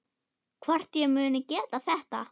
Hvort ég muni geta þetta.